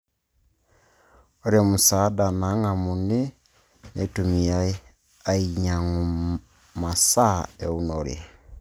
Ore musaada nang'amuni neitumiyai ainy'ang'u masaa eunore